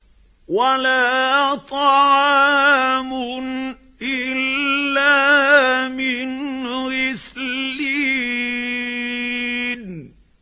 وَلَا طَعَامٌ إِلَّا مِنْ غِسْلِينٍ